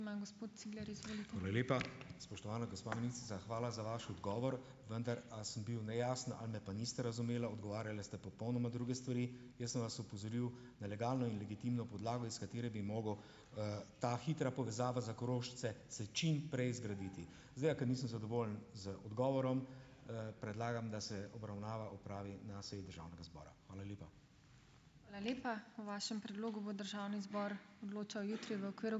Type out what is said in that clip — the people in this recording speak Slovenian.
Spoštovana gospa ministrica, hvala za vaš odgovor. Vendar, a sem bil nejasen ali me pa niste razumela. Odgovarjala ste popolnoma druge stvari. Jaz sem vas opozoril na legalno in legitimno podlago, iz katere bi ta hitra povezava za Korošce se čim prej zgraditi. Izgleda, ker nisem zadovoljen z odgovorom, predlagam, da se obravnava opravi na seji državnega zbora. Hvala lepa.